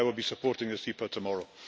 I will be supporting this EPA tomorrow.